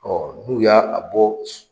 Ɔ n'u y'a a bɔ.